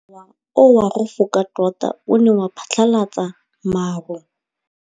Mowa o wa go foka tota o ne wa phatlalatsa maru.